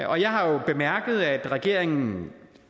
jeg har jo bemærket at regeringen